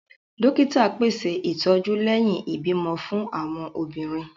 Dókítà pèsè ìtọjú lẹhin ibimọ fún awọn obìnrin